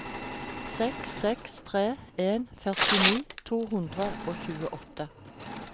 seks seks tre en førtini to hundre og tjueåtte